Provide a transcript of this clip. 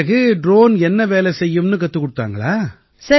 பிறகு ட்ரோன் என்ன வேலை செய்யும்னு கத்துக் கொடுத்தாங்களா